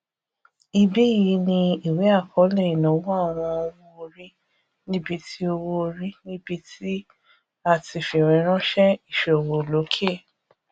ibí yìí ni ìwé akọọlẹ ìnáwó àwọn owóorí níbí tí owóorí níbí tí a ti fiweranṣẹ iṣowo loke